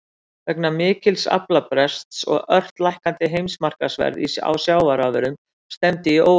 Vegna mikils aflabrests og ört lækkandi heimsmarkaðsverðs á sjávarafurðum stefndi í óefni.